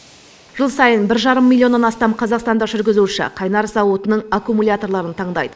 жыл сайын бір жарым миллионнан астам қазақстандық жүргізуші қайнар зауытының аккумуляторын таңдайды